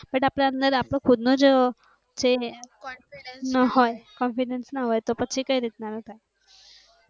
but આપણે ખુદ નો જ confident હોય તો પછી કઈ રીત ના થાય?